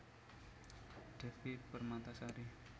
Devi Permatasari